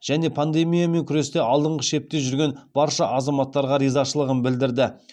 және пандемиямен күресте алдыңғы шепте жүрген барша азаматтарға ризашылығын білдірді